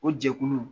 O jɛkulu